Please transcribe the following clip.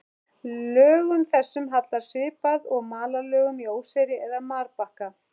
Lögum þessum hallar svipað og malarlögum í óseyri eða marbakka.